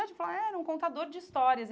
Ele falou, é, era um contador de histórias.